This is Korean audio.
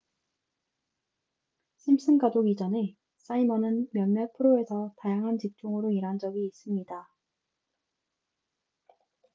심슨 가족 이전에 사이먼은 몇몇 프로에서 다양한 직종으로 일한 적이 있습니다